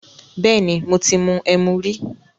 Bẹ́ẹ̀ni, mo ti mu ẹmu rí.